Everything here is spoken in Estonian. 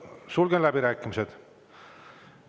Sulgen läbirääkimised.